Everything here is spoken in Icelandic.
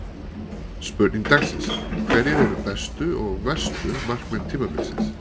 Spurning dagsins: Hverjir eru bestu og verstu markmenn tímabilsins?